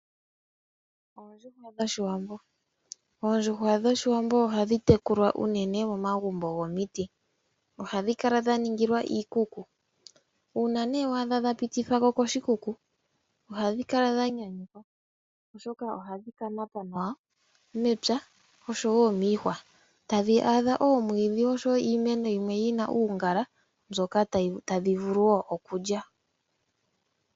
Oondjuhwa dhOshiwambo Oondjuhwa dhOshiwambo ohadhi tekulwa unene momagumbo gomiti. Ohadhi kala dha ningilwa iikuku. Uuna wa adha dha pitithwa ko koshikuku ohadhi kala dha nyanyukwa, oshoka ohadhi ka yanga nawa mepya noshowo miihwa. Tadhi adha oomwiidhi noshowo iimeno yimwe yi na uungala mbyoka tadhi vulu wo okulya.